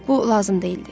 Bu lazım deyildi.